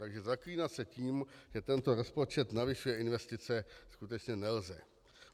Takže zaklínat se tím, že tento rozpočet navyšuje investice, skutečně nelze.